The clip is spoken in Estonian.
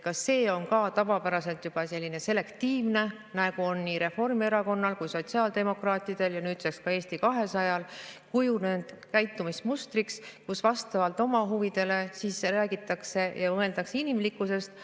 Kas see on ka tavapäraselt juba selline selektiivne, nagu on nii Reformierakonnal kui sotsiaaldemokraatidel ja nüüdseks ka Eesti 200-l kujunenud käitumismustriks, et vastavalt oma huvidele räägitakse ja mõeldakse inimlikkusest.